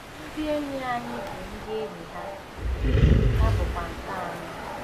Ndị enyi anyị bụ ndị enyi ha, ndị enyi ha bụkwa nke anyị.